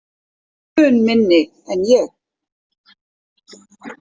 Mun minni en ég.